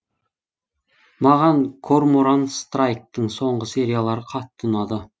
маған корморан страйктың соңғы сериялары қатты ұнады